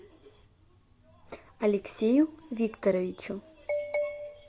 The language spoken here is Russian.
алексею викторовичу